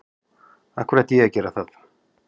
Af hverju ætti ég að gera það?